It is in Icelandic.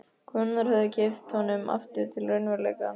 Konurnar höfðu kippt honum aftur til raunveruleikans.